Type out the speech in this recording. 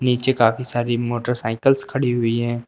नीचे काफी सारी मोटरसाइकिल्स खड़ी हुई हैं।